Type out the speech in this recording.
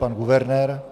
Pan guvernér.